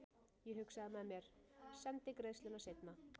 Ég hugsaði með mér:- Sendi greiðsluna seinna.